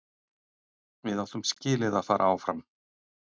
Við áttum skilið að fara áfram.